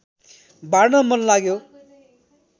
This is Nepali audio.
बाँड्न मन लाग्यो